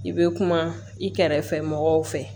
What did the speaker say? I bɛ kuma i kɛrɛfɛ mɔgɔw fɛ